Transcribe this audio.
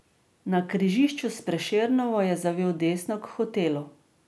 Na križišču s Prešernovo je zavil desno k hotelu.